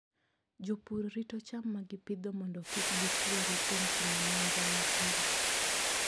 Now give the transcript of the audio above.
Jopur rito cham ma gipidho mondo kik gituore kuom timo nonro mapile.